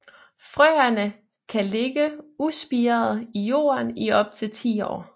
Frøene kan ligge uspirede i jorden i op til 10 år